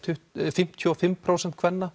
fimmtíu og fimm prósent kvenna